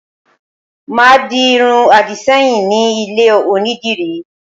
Màá di irun àdìṣẹ́yìn ní ilé Onídìrí